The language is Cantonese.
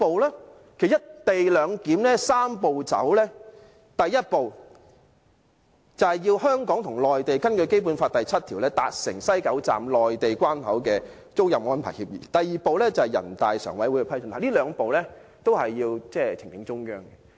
其實，就"一地兩檢"推行"三步走"，第一步就是要香港和內地根據《基本法》第七條達成西九站內地關口的租賃安排協議；第二步是人大常委會的批准，這兩步都是要呈請中央。